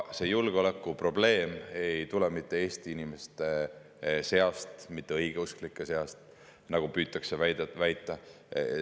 See julgeolekuprobleem ei tule mitte Eesti inimeste seast, mitte õigeusklike seast, nagu püütakse väita.